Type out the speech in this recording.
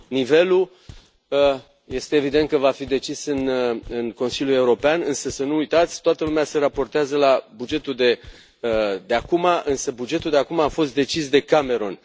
Nivelul este evident că va fi decis în Consiliu European, însă, să nu uitați, toată lumea se raportează la bugetul de acum, însă bugetul de acum a fost decis de Cameron.